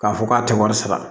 K'a fɔ k'a tɛ wari sara